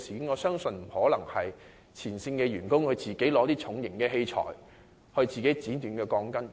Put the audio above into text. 我不相信前線員工會自行拿起重型器材剪短鋼筋。